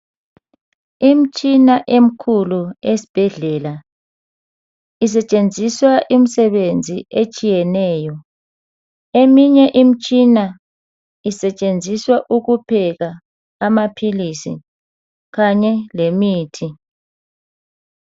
Imtshina emikhulu esibhedlela isetshenziswa imisebenzi etshiyeneyo. Eminye imitshina isetshenziswa ukupheka amaphilisi kanye lemithi.